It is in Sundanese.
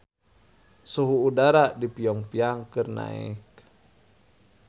Suhu udara di Pyong Yang keur naek